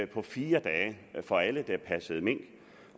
på fire dage for alle der passede mink